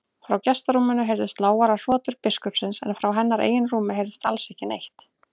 Frá gestarúminu heyrðust lágværar hrotur biskupsins en frá hennar eigin rúmi heyrðist alls ekki neitt.